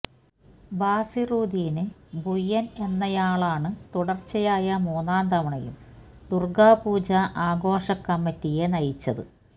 ബാസിറുദ്ദീന് ഭുയന് എന്നയാളാണ് തുടര്ച്ചയായ മൂന്നാം തവണയും ദുര്ഗാപൂജാ ആഘോഷ കമ്മറ്റിയെ നയിച്ചത്